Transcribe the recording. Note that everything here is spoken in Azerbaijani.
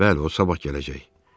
Bəli, o sabah gələcək.